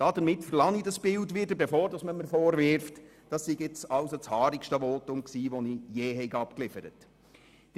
Damit verlasse ich dieses Bild, bevor man mir vorwirft, dies sei das haarigste Votum, welches ich je abgeliefert hätte.